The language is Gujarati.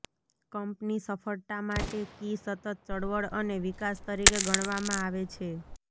કંપની સફળતા માટે કી સતત ચળવળ અને વિકાસ તરીકે ગણવામાં આવે છે